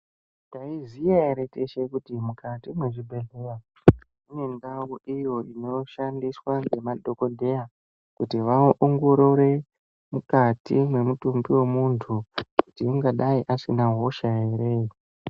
Taiziya ere teshe kuti mukati mwezvibhehlera mune ndau iyo inoshandiswa ngemadhokodheya kuti vaongorore mukati mwemutumbi wemuntu kuti ungadai asina hosha ere.